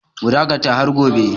Mu dakata har gobe!